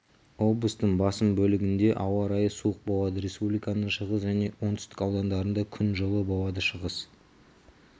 облыстың басым бөлігінде ауа райы суық болады республиканың шығыс және оңтүстік аудандарында күн жылы болады шығыс